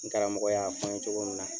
N karamɔgɔ y'a fɔ n ye cogo min na,